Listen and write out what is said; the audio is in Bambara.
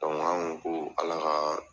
an ko ko Ala ka